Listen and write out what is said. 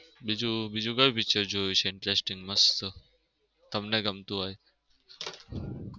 બીજું બીજું ક્યુ picture જોયું છે? interesting મસ્ત તમને ગમતું હોય